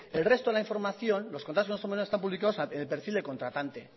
el resto de la información los contratos menores que están publicados en el perfil del contratante